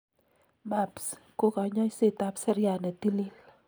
MABs ko kanyoisetab seriat ne tilil.